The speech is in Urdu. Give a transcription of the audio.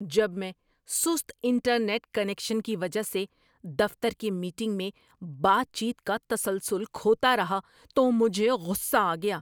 ‏جب میں سست انٹرنیٹ کنکشن کی وجہ سے دفتر کی میٹنگ میں بات چیت کا تسلسل کھوتا رہا تو مجھے غصہ آ گیا۔